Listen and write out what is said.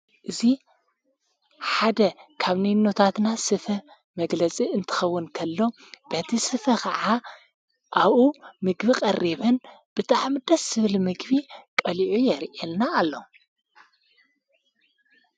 እዙ ሓደ ካብ ነይ ነታትና ስፈ መግለጺ እንትኸውን ከሎ በቲ ስፈ ኸዓ ኣኡ ምግቢ ቐሪብን ብትዓምደስ ስብል ምግቢ ቀሊዑ የርየልና ኣሎ።